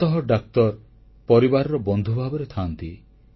ପ୍ରାୟତଃ ଡାକ୍ତର ପରିବାରର ବନ୍ଧୁ ଭାବରେ ଥାଆନ୍ତି